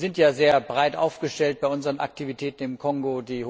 Wir sind ja sehr breit aufgestellt bei unseren Aktivitäten im Kongo.